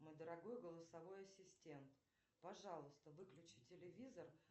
мой дорогой голосовой ассистент пожалуйста выключи телевизор